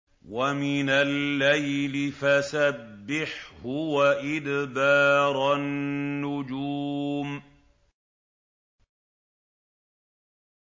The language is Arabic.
وَمِنَ اللَّيْلِ فَسَبِّحْهُ وَإِدْبَارَ النُّجُومِ